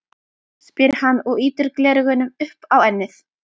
spyr hann og ýtir gleraugunum upp á ennið.